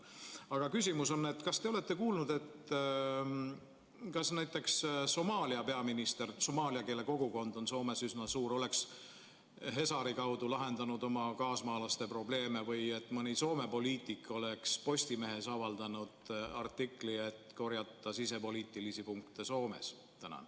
Aga küsimus on järgmine: kas te olete kuulnud, et näiteks Somaalia peaminister – somaaliakeelne kogukond on Soomes üsna suur – oleks Hesari kaudu lahendanud oma kaasmaalaste probleeme või et mõni Soome poliitik oleks Postimehes avaldanud artikli, et korjata Soomes sisepoliitilisi punkte?